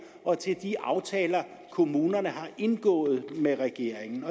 og de aftaler kommunerne har indgået med regeringen